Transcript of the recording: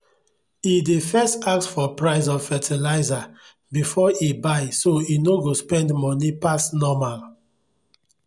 e dey first ask for price of fertilizer before e buy so e no go spend money pass normal.